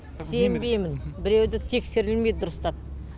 сенбеймін біреуі де тексерілмейді дұрыстап